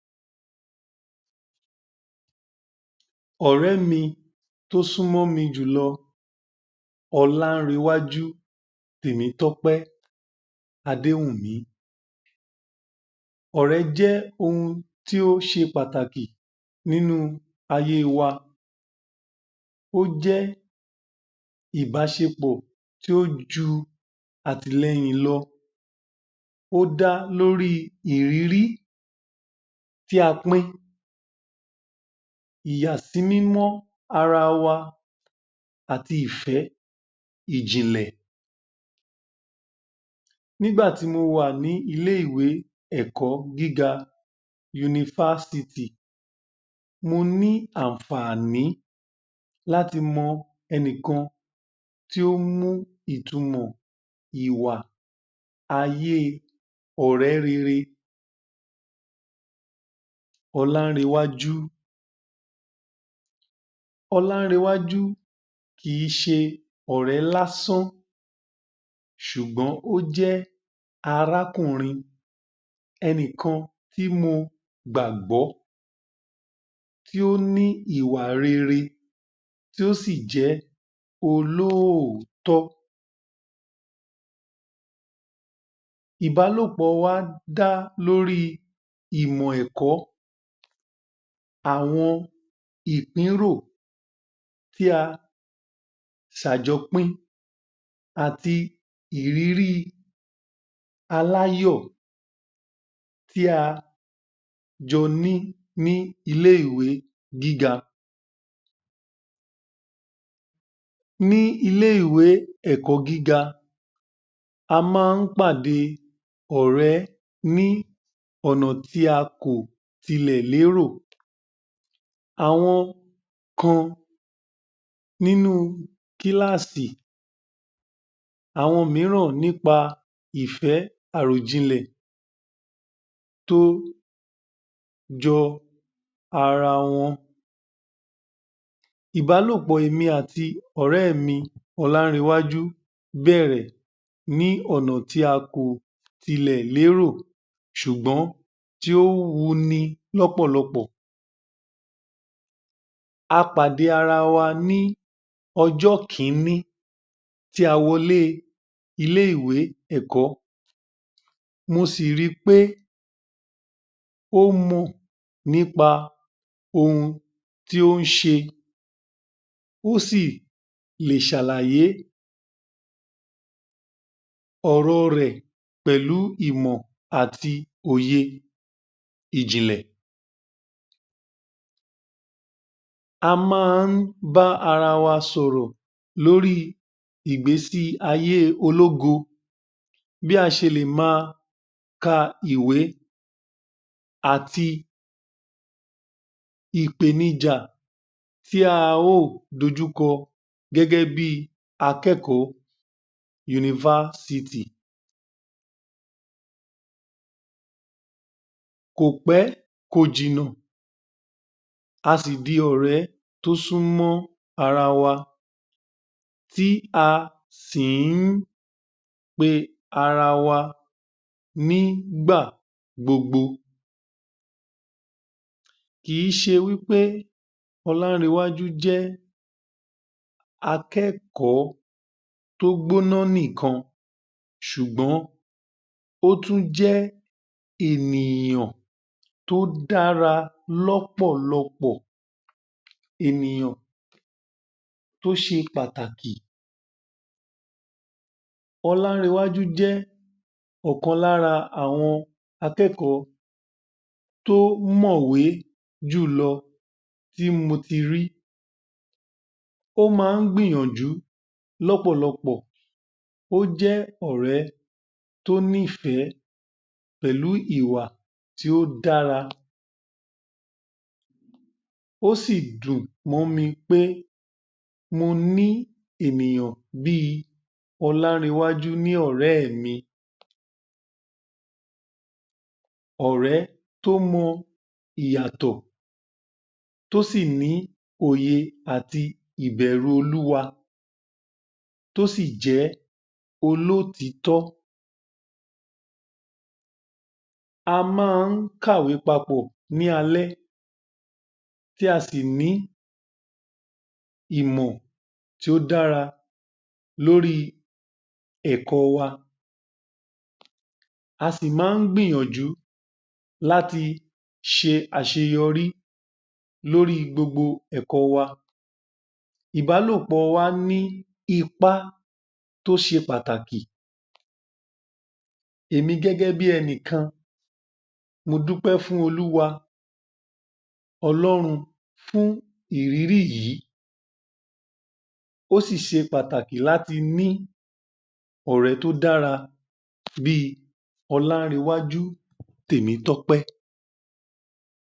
Ọ̀rẹ́ mi tó súnmọ́ mi jùlọ Ọlárewájú Tèmitọ́pé Adéwùmí, ọ̀rẹ́ jẹ́ ohun tó ṣe pàtàkì nínú ayé wa, ó jẹ́ ìbáṣepọ̀ tó ju àtìlẹ́yìn lọ, ó dá lórí ìrírí tía pín, ìyàsímímọ́ ara wa, àti ìfẹ́ ìjìnlẹ̀. Nígbà tí mọ wà ní ilé- ìwé ẹ̀kọ́ gíga yunifásitì mo ní ànfàní láti mọ ẹnìkan tí ó mú ìtumọ̀ ìwà ayé ọ̀rẹ́ rere Ọlárewájú. Ọlárewájú kì í ṣe ọ̀rẹ́ lásán, sùgbọ́n ó jẹ́ arákùnrin ẹnìkan tí mo gbàgbọ́, tí ó ní ìwà rere, tó sì jẹ́ olóoòtọ́. Ìbálòpọ̀ wa dá lórí ìmọ̀ ẹ̀kọ́ àwọn ìpínrò tí a jọ pín, ìrìrì aláyọ̀ tí a jọ ní ní ilé-ìwé gíga. Ní ilé- ìwé ẹ̀kọ́ gíga a má ọ̀rẹ́ ní ọ̀nà tí a kò ti lè lérò, àwọn kan nínú kílàsì, àwọn míràn ní pa ìfẹ́ àròjinlè tó jọ ara wọn. Ìbálòpọ́ èmi àti ọ̀rẹ́ mi Ọlárewájú bẹ̀rẹ̀ ní ọ̀nà tí a kò tilè lérò sùgbọ́n tí ó wuni lọ́pọ̀lọpọ̀. A pàdé ara wa ní ọjọ́ kíní tí a wọlé ilé-ìwé ẹ̀kọ́ mo sì ri pé ó mọ̀ nípa ohun tí ó ṣe, ó sì lè sàlàyé ọ̀rọ̀ rè pẹ̀lú ìmọ̀ àti òye ìjìnlè, a má bá ara wa sọ̀rọ̀ lórí ìgbésí ayé ológo, bí a ṣe lè ma ka ìwé àti ìpèníjà tí a ó dojúkọ gẹ́gẹ́bí akẹ́kọ́ọ̀ yunifásitì, kò pẹ́ kò jìnà a sì di ọ̀rẹ́ tó súnmọ́ ara wa, tí a sì í pe ara wa ní ìgbà gbogbo kì í ṣe wí pé Ọlárewájú jẹ́ akẹ́kọ́ọ̀ tó gbóná nìkan sùgbọ́n ó tún jẹ́ ènìyàn tó dára lọ́pọ̀lọpọ, ènìyàn tó ṣe pàtàkì, Ọlárewájú jẹ́ ọ̀kan lára àwọn akẹ́kọ́ọ̀ tó mọ̀wé jùlọ tí mo ti rí, ó má gbìyànjú lọ́pọ̀lọpọ̀, ó jẹ́ ọ̀rẹ́ tó ní ìfẹ́ pẹ̀lú ìwà tó dára, ó sì dùn mọ́ mi pé mo ní ènìyàn bí Ọlárewájú ní ọ̀rẹ́ mi, ọ̀rẹ́ tó mọ ìyàtọ̀ tó sì ní òye àti ìbẹ̀rù olúwa, tó sì jẹ́ olótítọ́, a má ka ìwé papọ̀ ní alẹ́ tí a sì ní ìmọ̀ tó dára lórí ẹ̀kọ́ wa,a sì má gbìyaǹjú láti ṣe àṣeyọrí lórí gbogbo ẹ̀kọ́ wa, ìbálòpọ̀ wa ní ipá tóṣe pàtàkì, èmi gẹ́gẹ́bí ẹnìkan mo dúpẹ́ fún olúwa ọlọ́run fún ìrírí yìí, ó sì ṣe pàtàkì láti ní ọ̀rẹ́ tó dára bí Ọlárewájú Tèmítọ́pẹ́.